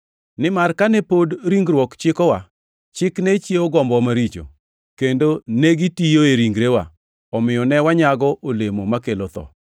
Nimar kane pod ringruok chikowa, chik ne chiewo gombowa maricho, kendo negitiyoe ringrewa, omiyo ne wanyago olemo makelo tho.